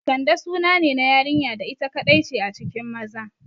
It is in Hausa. Kande sunane na yarinya da ita kaɗai ce a cikin maza